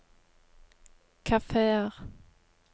kafeer